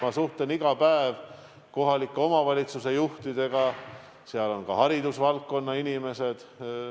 Ma suhtlen iga päev kohalike omavalitsuste juhtidega, seal on ka haridusvaldkonna inimesi.